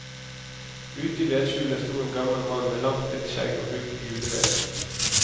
Ute i vedskjulet sto en gammel mann med langt hvitt skjegg og hugg juleved.